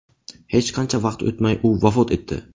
Hech qancha vaqt o‘tmay u vafot etdi.